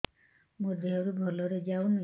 ମୋ ଦିହରୁ ଭଲରେ ଯାଉନି